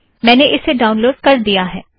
मैंने इसे ड़ाउनलोड़ कर दिया है